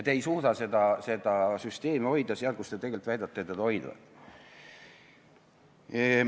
Te ei suuda seda süsteemi hoida seal, kus te tegelikult väidate seda hoidvat.